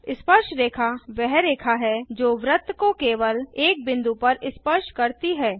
स्पर्शरेखा वह रेखा है जो वृत्त को केवल एक बिंदु पर स्पर्श करती है